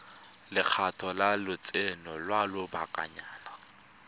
lekgetho la lotseno lwa lobakanyana